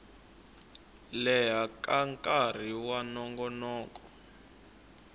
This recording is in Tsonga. leha ka nkarhi wa nongonoko